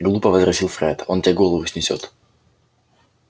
глупо возразил фред он тебе голову снесёт